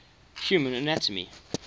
human anatomy